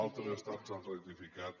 altres estats han rectificat